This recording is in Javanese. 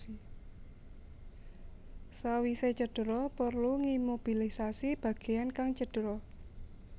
Sawise cedera perlu ngimobilisasi bageyan kang cedera